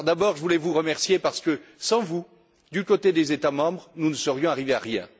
je voulais d'abord vous remercier parce que, sans vous, du côté des États membres, nous ne serions arrivés à rien.